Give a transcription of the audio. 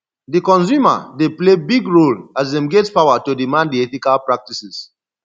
di consumer dey play big role as dem get power to demand di ethical practices